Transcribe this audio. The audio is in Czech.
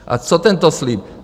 A co tento slib?